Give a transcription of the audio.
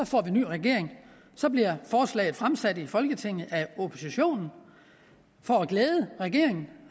får en ny regering og så bliver forslaget fremsat i folketinget af oppositionen for at glæde regeringen